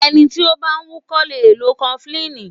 Ẹni tí ó bá ń wúkọ́ lè lo kọfulíìnì.